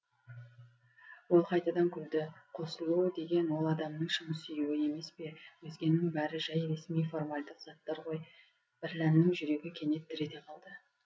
ол қайтадан күлді қосылу деген ол адамның шын сүюі емес пе өзгенің бәрі жай ресми формальдық заттар ғой бірләннің жүрегі кенет дір ете қалды